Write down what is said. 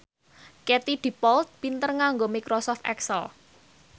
Katie Dippold pinter nganggo microsoft excel